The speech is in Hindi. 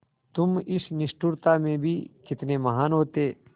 तुम इस निष्ठुरता में भी कितने महान् होते